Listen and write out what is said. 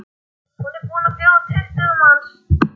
Hún er búin að bjóða tuttugu manns.